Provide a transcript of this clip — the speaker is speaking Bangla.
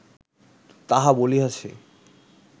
তাহা বলিয়াছি